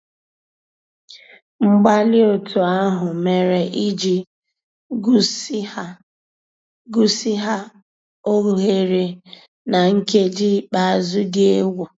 Mgbàlí ótú àhụ́ mérè ìjì gùzíghà óghéré ná nkèjí ikpéázụ́ dị́ égwu.